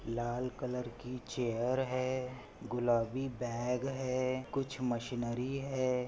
लाल colour की chair है गुलाबी बैग है कुछ मशीनरी है।